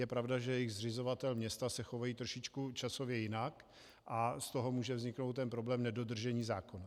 Je pravda, že jejich zřizovatelé, města, se chovají trošičku časově jinak, a z toho může vzniknout ten problém nedodržení zákona.